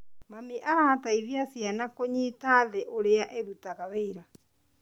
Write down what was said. Mami arateithia ciana kũnyita thĩ ũrĩa ĩrutaga wĩra.